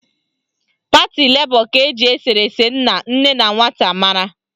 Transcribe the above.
Pati Lebọ ka eji eserese nna, nne na nwata mara